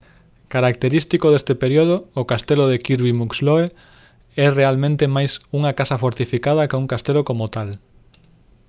característico deste período o castelo de kirby muxloe é realmente máis unha casa fortificada ca un castelo como tal